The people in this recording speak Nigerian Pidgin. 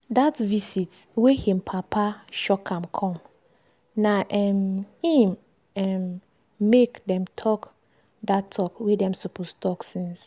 dat visit wey him papa shock am come na um im um make dem talk dat talk wey dem suppose talk since.